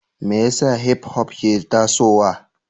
Me yasa Hipop ke tasowa?